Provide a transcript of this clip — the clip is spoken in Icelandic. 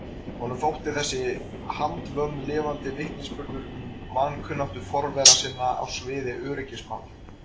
Honum þótti þessi handvömm lifandi vitnisburður um vankunnáttu forvera sinna á sviði öryggismála.